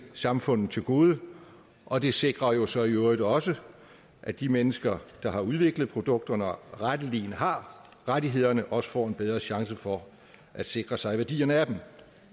samfundet til gode og det sikrer jo så i øvrigt også at de mennesker der udvikler produkterne og retteligen har rettighederne også får en bedre chance for at sikre sig værdien af dem